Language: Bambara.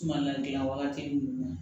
Sumala gilan wagati jumɛn na